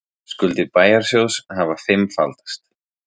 Skuldir bæjarsjóðs hafa fimmfaldast